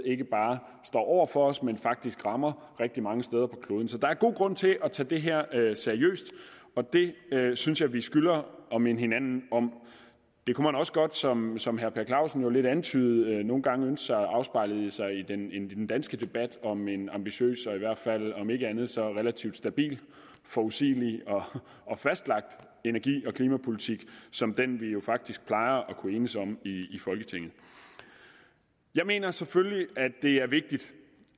ikke bare står over for os men faktisk rammer rigtig mange steder på kloden så der er god grund til at tage det her seriøst og det synes jeg vi skylder at minde hinanden om det kunne man også godt som som herre per clausen jo lidt antydede nogle gange ønske sig afspejlet i den danske debat om en ambitiøs og i hvert fald om ikke andet så relativt stabil forudsigelig og fastlagt energi og klimapolitik som den vi jo faktisk plejer at kunne enes om i folketinget jeg mener selvfølgelig at det er vigtigt